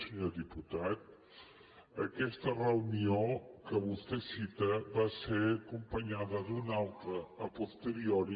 senyor diputat aquesta reunió que vostè cita va ser acompanyada d’una altra a posteriori